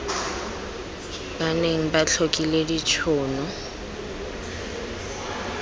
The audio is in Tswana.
ba neng ba tlhokile ditshono